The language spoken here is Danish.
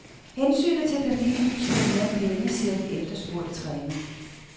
Hensynet til familien betyder mere end penge, siger den efterspurgte træner.